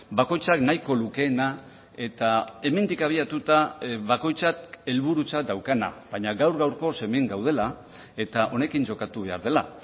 bakoitzak nahiko lukeena eta hemendik abiatuta bakoitzak helburutzat daukana baina gaur gaurkoz hemen gaudela eta honekin jokatu behar dela